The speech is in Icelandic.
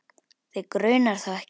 Þig grunar þó ekki?